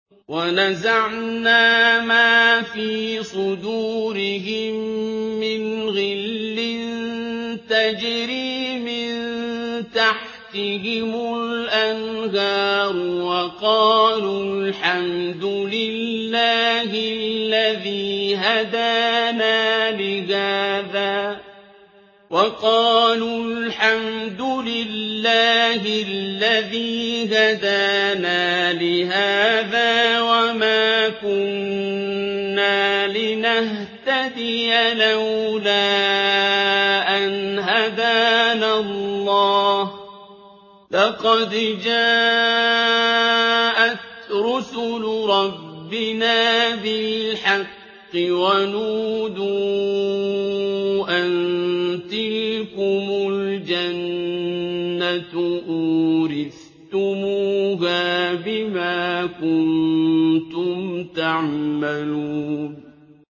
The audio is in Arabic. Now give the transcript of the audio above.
وَنَزَعْنَا مَا فِي صُدُورِهِم مِّنْ غِلٍّ تَجْرِي مِن تَحْتِهِمُ الْأَنْهَارُ ۖ وَقَالُوا الْحَمْدُ لِلَّهِ الَّذِي هَدَانَا لِهَٰذَا وَمَا كُنَّا لِنَهْتَدِيَ لَوْلَا أَنْ هَدَانَا اللَّهُ ۖ لَقَدْ جَاءَتْ رُسُلُ رَبِّنَا بِالْحَقِّ ۖ وَنُودُوا أَن تِلْكُمُ الْجَنَّةُ أُورِثْتُمُوهَا بِمَا كُنتُمْ تَعْمَلُونَ